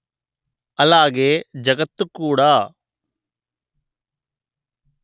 అలాగే జగత్తు కూడా